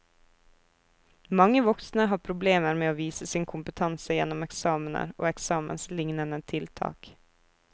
Mange voksne har problemer med å vise sin kompetanse gjennom eksamener og eksamenslignende tiltak.